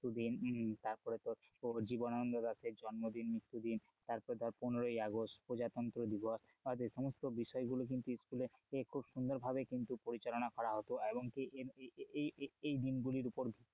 তারপরে তোর জীবনানন্দ দাশের জন্মদিন মৃত্যুদিন তারপরে ধর পনের আগস্ট প্রজাতন্ত্র দিবস এই সমস্ত বিষয় গুলো কিন্তু স্কুলে খুব সুন্দর পরিচালনা করা হতো এবং কি এই এই দিনগুলোর উপর,